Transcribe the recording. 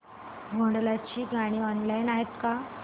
भोंडला ची गाणी ऑनलाइन आहेत का